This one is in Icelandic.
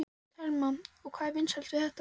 Telma: Og hvað er svona vinsælt við þetta?